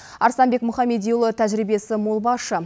арыстанбек мұхамедиұлы тәжірибесі мол басшы